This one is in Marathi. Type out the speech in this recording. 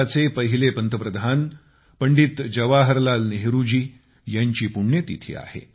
भारताचे पहिले पंतप्रधान पंडित जवाहरलाल नेहरूजी यांची पुण्यतिथी आहे